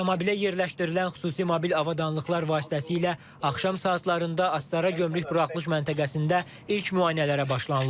Avtomobilə yerləşdirilən xüsusi mobil avadanlıqlar vasitəsilə axşam saatlarında Astara gömrük buraxılış məntəqəsində ilk müayinələrə başlanılıb.